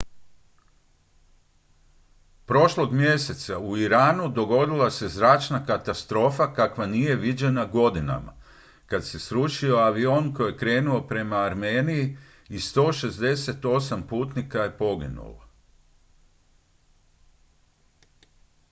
prošlog mjeseca u iranu dogodila se zračna katastrofa kakva nije viđena godinama kad se srušio avion koji je krenuo prema armeniji i 168 putnika je poginulo